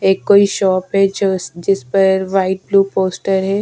एक कोई शॉप है जो जिसपर व्हाईट ब्लू पोस्टर है।